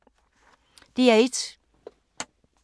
DR1